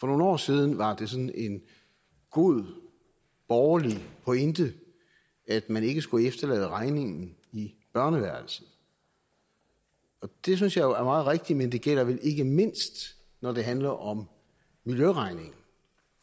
nogle år siden var det sådan en god borgerlig pointe at man ikke skulle efterlade regningen i børneværelset det synes jeg jo er meget rigtigt men det gælder vel ikke mindst når det handler om miljøregningen